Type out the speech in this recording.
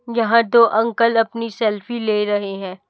यहां तो अंकल अपनी सेल्फी ले रहे हैं।